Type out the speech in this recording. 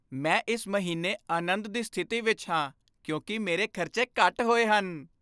ਮੈਂ ਇਸ ਮਹੀਨੇ ਅਨੰਦ ਦੀ ਸਥਿਤੀ ਵਿੱਚ ਹਾਂ ਕਿਉਂਕਿ ਮੇਰੇ ਖਰਚੇ ਘੱਟ ਹੋਏ ਹਨ।